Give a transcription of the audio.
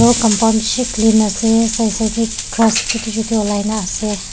compound beshi clean ase said said de grass chutu chutu ulai na ase.